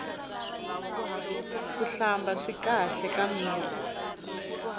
kuhlamba swi kahle ka mirhi